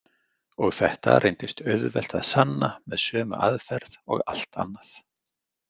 Og þetta reyndist auðvelt að sanna með sömu aðferð og allt annað.